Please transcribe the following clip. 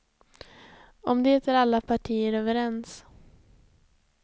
Om det är alla partier överens.